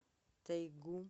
тайгу